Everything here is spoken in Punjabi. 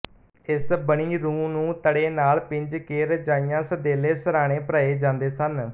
ਏਸ ਬਣੀ ਰੂੰ ਨੂੰ ਤੜੇ ਨਾਲ ਪਿੰਜ ਕੇ ਰਜਾਈਆਂ ਸਦੈਲੇ ਸਰਹਾਨੇ ਭਰਾਏ ਜਾਂਦੇ ਸਨ